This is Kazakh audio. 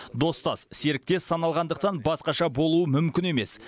достас серіктес саналғандықтан басқаша болуы мүмкін емес